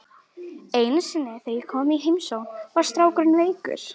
Einu sinni þegar ég kom í heimsókn var strákurinn veikur.